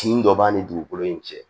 Tin dɔ b'an ni dugukolo in cɛ